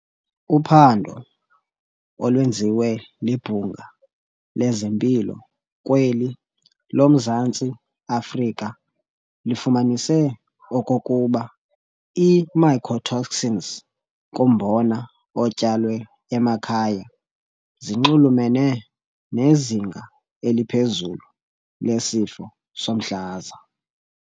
Uphando olwenziwe libhunga lezempilo kweli lomZantsi Afrika lifumanise okokuba ii-mycotoxins kumbona otyalwe emakhaya ziinxulumene nezinga eliphezulu lesifo somhlaza.